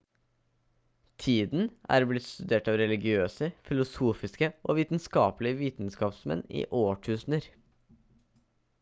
tiden er blitt studert av religiøse filosofiske og vitenskapelige vitenskapsmenn i årtusener